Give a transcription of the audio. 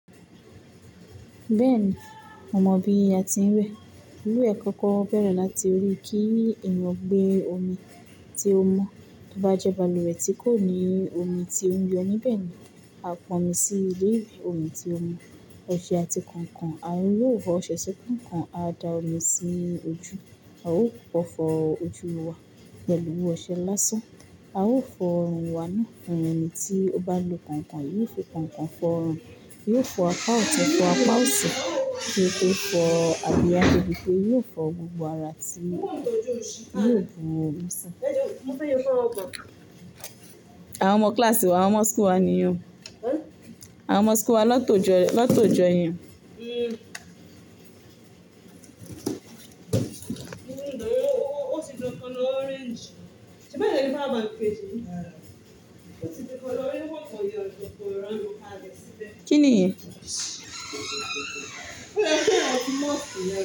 Bẹ́ẹ̀ni, mo mọ bi a ti ń wẹ. Lúwẹ̀ẹ́ kankan bẹ̀rẹ̀ láti orí kí ẹ̀yàn gbé omi tí ó mọ́. Bí ó bá jẹ́ balùwẹ̀ tí kò ní omi tí ó ń yọ níbẹ̀ ni, a pon omi sí ilé ìwẹ̀. Omi tí ó mọ́, ọṣẹ àti kànkàn. A yóò f'ọṣẹ ṣi kànkàn, a dá omi sí ojú. A ó kokọ fọ́ ojú wa pẹ̀lú ọṣẹ lásán. A ó fọ ọrùn wa ná. Ẹni tí ó bá lo kànkàn, yóò fi kànkàn fọ ọrùn. Yóò fọ apá òtun, fọ apá òsi. Yóò fọ àbí á jẹ́ bi pé yóò fọ gbogbo ara tí yóò bù omi sí. Àwọn ọmọ kíláàsì wa, àwọn ọmọ skool wa nìyẹn. Àwọn ọmọ school wa ló tòjọ́, ló tòjọ́ ìyẹn. Kí niyen?